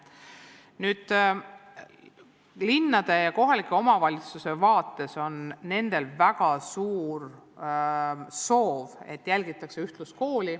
Linnadel ja muudel kohaliku omavalitsuse üksustel on väga suur soov, et jälgitaks ühtluskooli.